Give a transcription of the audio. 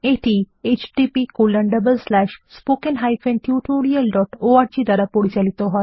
এই প্রকল্প httpspoken tutorialorg দ্বারা পরিচালিত হয়